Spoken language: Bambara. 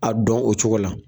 A dɔn o cogo la.